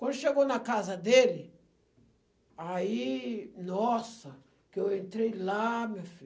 Quando chegou na casa dele, aí, nossa, que eu entrei lá, meu filho.